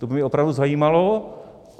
To by mě opravdu zajímalo.